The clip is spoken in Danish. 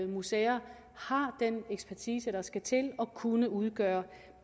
museer har den ekspertise der skal til at kunne udgøre